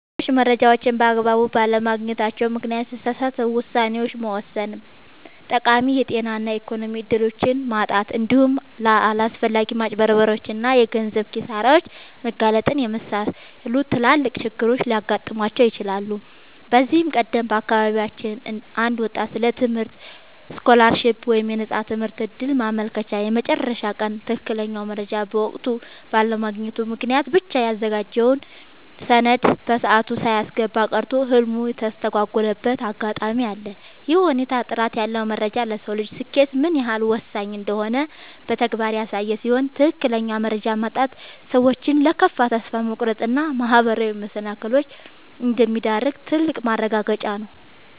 ሰዎች መረጃን በአግባቡ ባለማግኘታቸው ምክንያት የተሳሳቱ ውሳኔዎችን መወሰን፣ ጠቃሚ የጤና እና የኢኮኖሚ እድሎችን ማጣት፣ እንዲሁም ለአላስፈላጊ ማጭበርበሮች እና የገንዘብ ኪሳራዎች መጋለጥን የመሰሉ ትላልቅ ችግሮች ሊገጥሟቸው ይችላሉ። ከዚህ ቀደም በአካባቢያችን አንድ ወጣት ስለ ትምህርት ስኮላርሺፕ (የነፃ ትምህርት ዕድል) ማመልከቻ የመጨረሻ ቀን ትክክለኛውን መረጃ በወቅቱ ባለማግኘቱ ምክንያት ብቻ ያዘጋጀውን ሰነድ በሰዓቱ ሳያስገባ ቀርቶ ህልሙ የተስተጓጎለበት አጋጣሚ አለ። ይህ ሁኔታ ጥራት ያለው መረጃ ለሰው ልጅ ስኬት ምን ያህል ወሳኝ እንደሆነ በተግባር ያሳየ ሲሆን፣ ትክክለኛ መረጃ ማጣት ሰዎችን ለከፋ ተስፋ መቁረጥ እና ማህበራዊ መሰናክሎች እንደሚዳርግ ትልቅ ማረጋገጫ ነው።